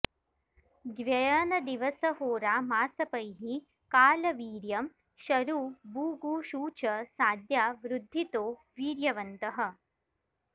द्व्ययनदिवस होरा मासपैः काल वीर्यं शरु बु गु शु च साद्या वृद्धितो वीर्यवन्तः